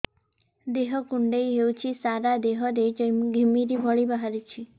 ଦେହ କୁଣ୍ଡେଇ ହେଉଛି ସାରା ଦେହ ରେ ଘିମିରି ଭଳି ବାହାରୁଛି